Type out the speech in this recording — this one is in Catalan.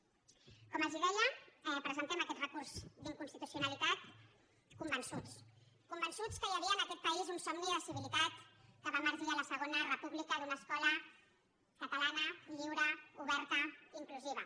com els deia presentem aquest recurs d’inconstitucionalitat convençuts convençuts que hi havia en aquest país un somni de civilitat que va emergir a la segona república d’una escola catalana lliure oberta inclusiva